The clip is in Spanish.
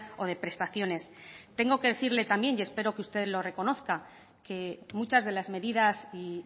o de prestaciones tengo que decirle también y espero que usted lo reconozca que muchas de las medidas y